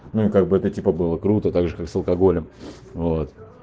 ну как бы это типа было круто так же как с алкоголем вот